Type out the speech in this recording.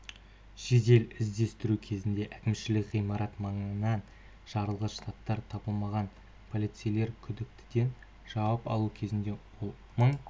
жедел іздестіру кезінде әкімшілік ғимарат маңынан жарылғыш заттар табылмаған полицейлер күдіктіден жауап алу кезінде ол мың